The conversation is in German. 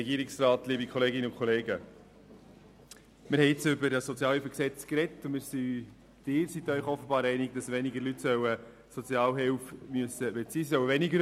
Wir haben nun über dieses SHG gesprochen, und Sie sind sich offenbar darin einig, dass die Leute weniger Sozialhilfe erhalten sollen.